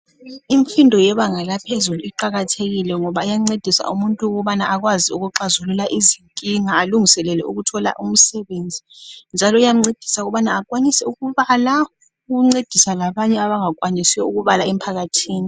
Imfundo yebanga laphezulu iqakathekile ngoba iyancedisa umuntu ukubana akwazi ukuxazulula izinkinga alungiselele ukuthola umsebenzi njalo iyamncedisa ukubana akwanise ukubala ukuncedisa labanye abangakwanisi ukubala empakathini.